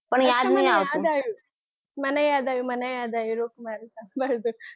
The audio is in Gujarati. અચ્છા મને યાદ આવ્યું મને યાદ આવ્યું મને યાદ આવ્યું